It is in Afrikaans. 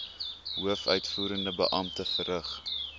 hoofuitvoerende beampte verrig